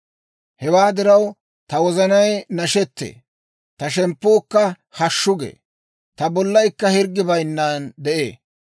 Hewaa diraw, ta wozanay nashettee; ta shemppuukka hashshu gee. Ta bollaykka hirggi bayinnan de'ee.